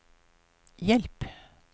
hjelp